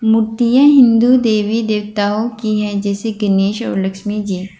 मूर्तियां हिंदू देवी देवताओं की है जैसे गणेश और लक्ष्मी जी।